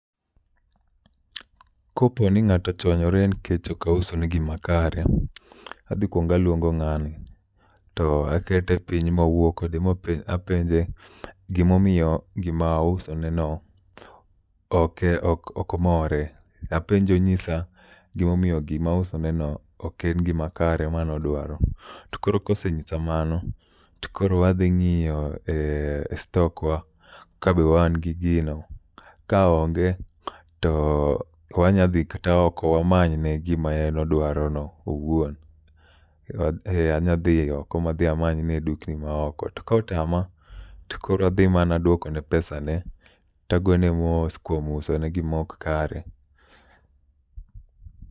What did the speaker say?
Kopo ni ng'ato ochwanyore nikech okauso ne gima kare, adhi kwonga luongo ng'ano. To akete piny mawuo kode ma penje apenje gimomiyo gima ausone no oke ok more. Apenje onyisa gimomiyo gima ausoneno ok en gima kare manodwaro. To koro kosenyisa mano, to koro wadhi ng'iyo e stok wa ka be wan gi gino. Ka onge to wanya dhi kata oko wamanyne gima en odwaro no owuon. Ee anya dhi oko amanyne e dukni ma oko. To kotama to koro adhi mana duoko ne pesa ne tagone mos kuom uso ne gima ok kare.